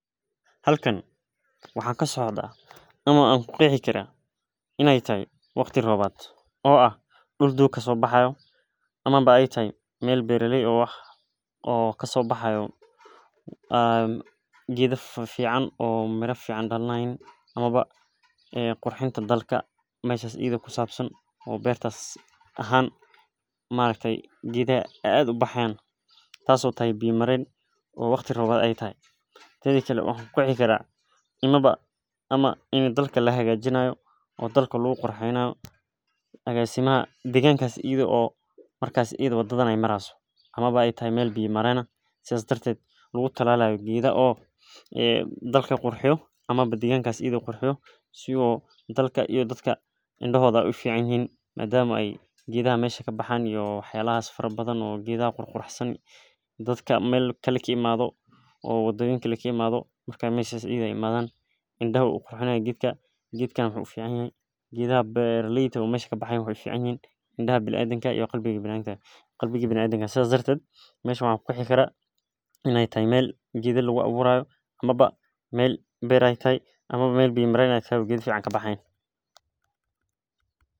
Halkan waxakasocdha, ama an kuqexikara, inay taxay wagti roobat,0 ah dul doq kasobaxayo amaba au taxay, mel beraley ah, o wax o kasobaxayo, enn qedha fafican, oo miraa fifican daliyaan amaba qurxinta dalka, meshas idha kusabsan, oo bertas ahaaan maaraktaye qedhaxaa ey ad ubixayan taas oy taxaay biya maren, o wagti roobat aya taxaay, tedhakale waxan kuqexikaraa amaba amaa ini dalka laxagajinayo, oo dalka laguqurxeynayo, agasimaha deqanqasii, idho oo markasi wadadhan ay marixayso amaba ay taxay mel biya maren sidhas dartedh lagutalayo gedha oo dalka qurxiyo, amaba deqankas edha qurxiyo, siuu dadka ama dalka indohodha aya uficanyixin, madaamu qedhaxa mesha kabaxaay iyo waxyalaxaas farabadhan, iyo qedhaxa qurqurxsanii dadka melkale kaimadho wa wadayoyinka kaimadho, marka meshas ideh ay imadhan indaha ayu uqurxina qedka, qedkan wuxuu uficanyahay, qedhaxa beraleydha oo mesha kabaxaayan waxay uficanyixiin, indaxa biniadamka iyo qalbika biniadamka, sidhas dhartedh, meshan waxan kuqexi karaa inay taxay mel qeedha laguawurayo, amaba mel ber aya taya ama mel biya mareen ay tahay o qedha fican kabixixayan.